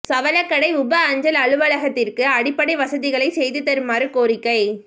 சவளக்கடை உப அஞ்சல் அலுவலகத்திற்கு அடிப்படை வசதிகளை செய்து தருமாறு கோரிக்கை